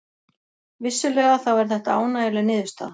Vissulega þá er þetta ánægjuleg niðurstaða